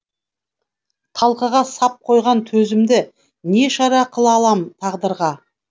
талқыға сап қойған төзімді не шара қыла алам тағдырға